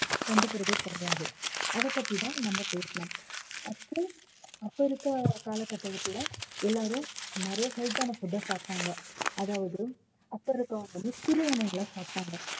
கண்டுக்கறதே கிடையாது அதைப் பத்திதான் நம்ம பேசலாம் அப்புறம் அப்ப இருக்க காலகட்டத்துல எல்லாரும் நிறைய health ஆன food அ சாப்பிட்டாங்க அதாவது அப்ப இருக்கவங்க வந்து சிறுதானியங்களை சாப்பிட்டாங்க